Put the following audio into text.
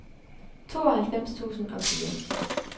tooghalvfems tusind og fire